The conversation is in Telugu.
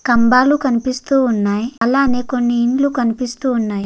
కంభయలు కనిపిస్తున్నాయి. అలానే కొన్ని ఇల్లు కనిపిస్తున్నాయి.